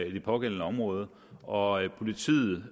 i det pågældende område og at politiet